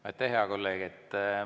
Aitäh, hea kolleeg!